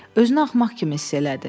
Özünü axmaq kimi hiss elədi.